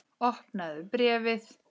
Opnaðu bréfið!